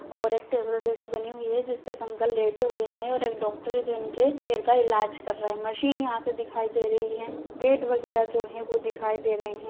--और एक टेबल जैसे बनी हुई है जिस पे एक अंकल लेटे हुए है और एक डॉक्टर है जो इनके पैर का इलाज कर रहे है मशीन यहाँ से दिखाई दे रही है गेट वगैरा जो है वो दिखाई दे रहे है।